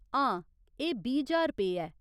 हां, एह्‌ बीह्‌ ज्हार रपेऽ ऐ।